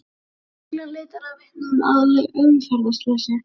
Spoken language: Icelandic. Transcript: Lögreglan leitar að vitnum að umferðarslysi